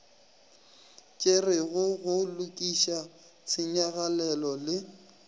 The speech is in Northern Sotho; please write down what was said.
tšerwego go lokiša tshenyagalelo le